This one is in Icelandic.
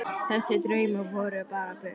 Þessir draumar voru bara bull.